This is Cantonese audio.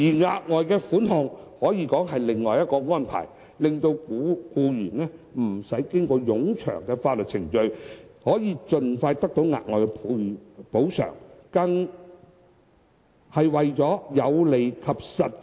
額外款項可以說是另一種安排，令到僱員不用經過冗長的法律程序，可以盡快得到額外補償，因而更為有利及實際。